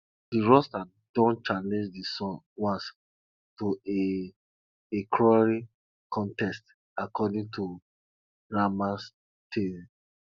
de rooster don challenge de sun once to a a crowing contest according to grandma tale